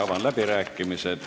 Avan läbirääkimised.